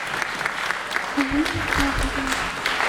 алине павловне